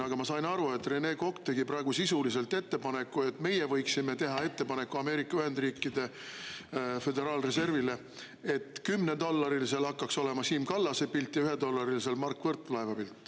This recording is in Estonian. Aga ma sain aru, et Rene Kokk tegi praegu sisuliselt ettepaneku, et meie võiksime teha Ameerika Ühendriikide Föderaalreservile ettepaneku, et kümnedollarilisel hakkaks olema Siim Kallase pilt ja ühedollarilisel Mart Võrklaeva pilt.